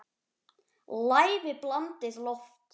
Lævi blandið loft.